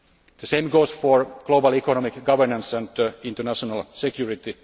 The same goes for global economic governance and international security.